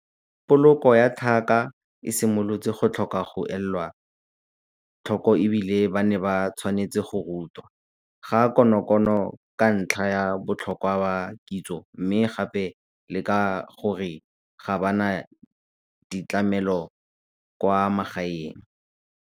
Poloko ya tlhaka e simolotse go tlhoka go elwa tlhoko e bile ba ne ba tshwanetse go rutwa, ga konokono ka ntlha ya botlhokwa ba kitso mme gape le ka gore ga ba na ditlamelo kwa magaeng.